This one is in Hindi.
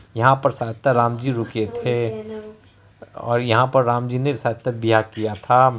यहाँ पर शायद त राम जी रुके थे और यहां पर राम जी ने सातक किया था।